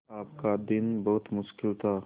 आपका दिन बहुत मुश्किल था